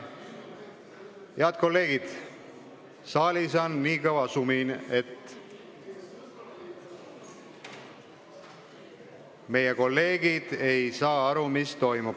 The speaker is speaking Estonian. Head kolleegid, saalis on nii kõva sumin, et ei saa aru, mis toimub.